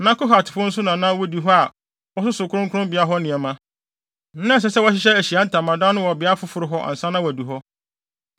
Na Kohatfo no nso na na wodi hɔ a wɔsoso kronkronbea hɔ nneɛma. Na ɛsɛ sɛ wɔhyehyɛ Ahyiae Ntamadan no wɔ beae foforo hɔ ansa na wɔadu hɔ.